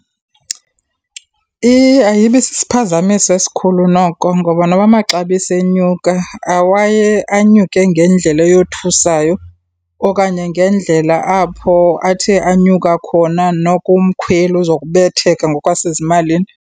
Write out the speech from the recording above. Ayibi sisiphazamisi esikhulu noko ngoba noba amaxabiso enyuka awaye anyuke ngendlela eyothusayo okanye ngendlela apho athe anyuka khona, noko umkhweli uzokubetheka ngokwasezimalini.